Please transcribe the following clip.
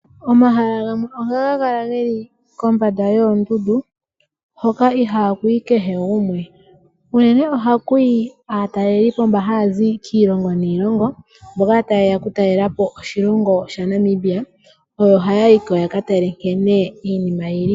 Omahala gamwe ohaga kala geli kombanda yoondundu hoka ihaaku yi kehe gumwe, unene ohaku yi aatalelipo mbono haya zi kiilongo niilongo, mboka tayeya okutalelapo oshilongo shaNamibia, oyo haya yiko yaka tale nkene iinima yili.